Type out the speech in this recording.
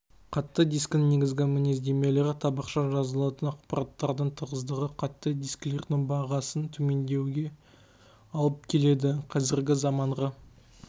қатты дискінің негізгі мінездемелері табақша жазылатын ақпараттардың тығыздығы қатты дискілердің бағасын төмендетуге алып келеді қазіргі заманғы